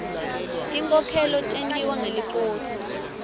tinkhokhelo tentiwa ngeliposi